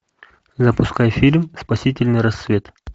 запускай фильм спасительный рассвет